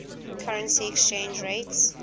currency exchange rates